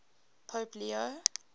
pope leo